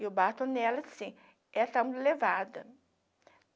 E o bato nela sim, era está muito levada